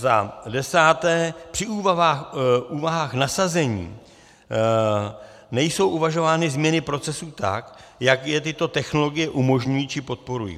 Za desáté, při úvahách nasazení nejsou uvažovány změny procesů tak, jak je tyto technologie umožňují či podporují.